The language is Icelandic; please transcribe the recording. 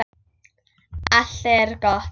Allt er gott.